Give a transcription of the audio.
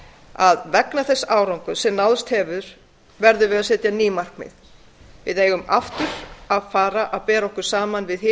að í ljósi þess árangurs sem náðst hefur verðum við að setja ný markmið við eigum aftur að fara bera okkur saman við hin